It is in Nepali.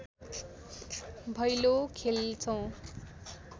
भैलो खेल्छौँ